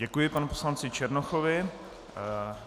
Děkuji panu poslanci Černochovi.